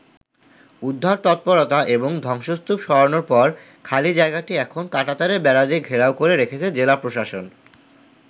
উদ্ধার তৎপরতা এবং ধ্বংসস্তূপ সরানোর পর খালি জায়গাটি এখন কাঁটাতারের বেড়া দিয়ে ঘেরাও করে রেখেছে জেলা প্রশাসন।